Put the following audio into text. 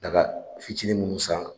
Daga fitinin minnu san